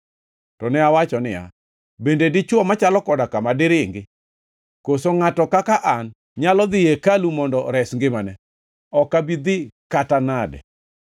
To ne awacho niya, “Bende dichwo machalo koda kama diringi? Koso ngʼato kaka an nyalo dhi ei hekalu mondo ores ngimane? Ok abi dhi kata nade!”